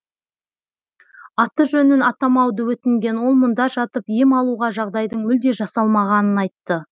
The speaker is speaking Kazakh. аты жөнін атамауды өтінген ол мұнда жатып ем алуға жағдайдың мүлде жасалмағанын айтты